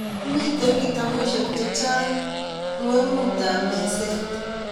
Mito kitabushek chechang ngwengut ab mezet